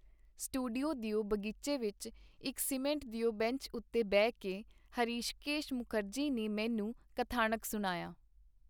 Studio ਦਿਓ ਬਗੀਚੇ ਵਿਚ, ਇਕ ਸੀਮਿੰਟ ਦਿਓ ਬੰਚ ਉੇਤੇ ਬਹਿ ਕੇ ਹਰਿਸ਼ਕੇਸ਼ ਮੁਕਰਜੀ ਨੇ ਮੈਨੂੰ ਕਥਾਨਕ ਸੁਣਾਇਆ.